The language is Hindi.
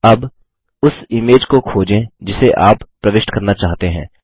अब उस इमेज को खोजें जिसे आप प्रविष्ट करना चाहते हैं